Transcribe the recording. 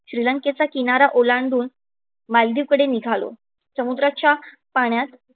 श्रीलंकेचा ओलांडून मालदीवकडे निघालो. समुद्राच्या पाण्यात श्रीलेंकेचा किनारा ओलांडून मालदिवकडे निघालो.